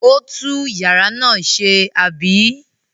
Ó tú ìyàrá náà ṣe, àbí?